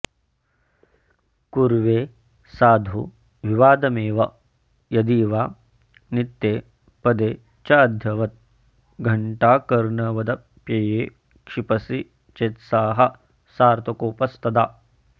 कुर्वे साधु विवादमेव यदि वा नित्ये पदे चैद्यवत् घण्टाकर्णवदप्यये क्षिपसि चेत्स्याः सार्थकोपस्तदा